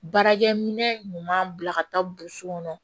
Baarakɛ minɛ ɲuman bila ka taa burusi kɔnɔ